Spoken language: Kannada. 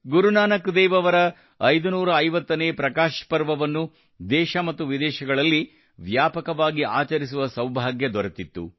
ಗುರು ನಾನಕ್ ದೇವ್ ಅವರ 550 ನೇ ಪ್ರಕಾಶ ಪರ್ವವನ್ನು ದೇಶ ಮತ್ತು ವಿದೇಶಗಳಲ್ಲಿ ವ್ಯಾಪಕವಾಗಿ ಆಚರಿಸುವ ಸೌಭಾಗ್ಯ ದೊರೆತಿತ್ತು